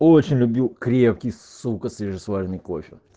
очень любил крепкий сука свежесваренный кофе